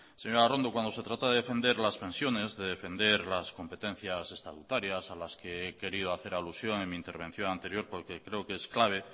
señora arrondo cuando se trata de defender las pensiones de defender las competencias estatutarias a las que he querido hacer alusión en mi intervención anterior porque creo que es clave